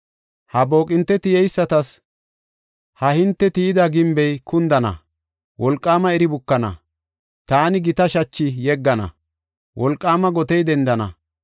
Ha booqinte tiyeysatas; ha hinte tiyida gimbey kundana; wolqaama iri bukana. Taani gita shachi yeggana; wolqaama gotey dendana.